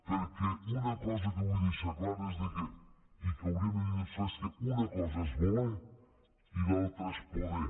perquè una cosa que vull deixar clara i que hauríem de tenir tots clar és que una cosa és voler i l’altra és poder